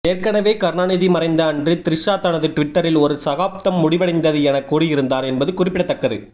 ஏற்கனவே கருணாநிதி மறைந்த அன்று த்ரிஷா தனது டுவிட்டரில் ஒரு சகாப்தம் முடிவடைந்தது என கூறியிருந்தார் என்பது குறிப்பிடத்தக்கது